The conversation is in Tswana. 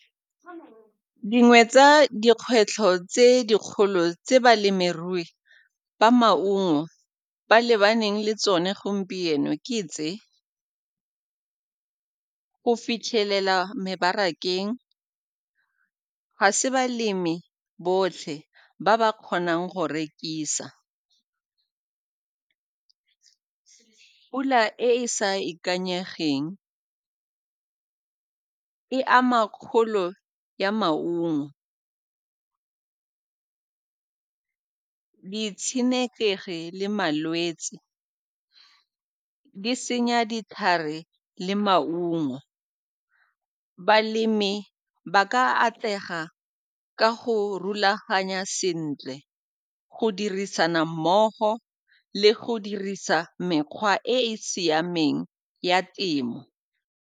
Dingwe tsa dikgwetlho tse dikgolo tse balemirui ba maungo ba lebaneng le tsone gompieno ke tse, go fitlhelela mebarakeng, ga se balemi botlhe ba ba kgonang go rekisa, pula e e sa ikanyegeng e ama kgolo ya maungo, ditshenekegi le malwetse di senya ditlhare le maungo. Balemi ba ka atlega ka go rulaganya sentle, go dirisana mmogo le go dirisa mekgwa e e siameng ya temo.